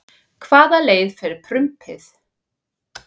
Hvaða leið fer prumpið?